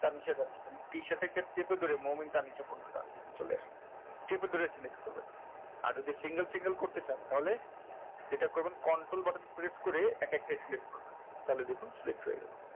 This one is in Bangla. তার নীচে যাচ্ছি কে চেপে ধরে তার চলে আসে চেপে ধরে select করবেন আর যদি single single করতে চান তাহলে এটা করবেন control button press করে এক একটা select করবেন তাহলে দেখুন select হয়ে গেলো।